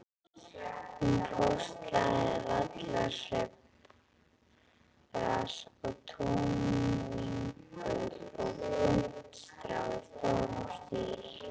Hún póstlagði vallarsveifgras og túnvingul og puntstrá í stórum stíl.